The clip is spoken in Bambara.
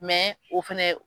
Mɛ o fɛnɛ